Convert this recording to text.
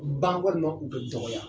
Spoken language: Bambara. Ban walima u bɛ dɔgɔya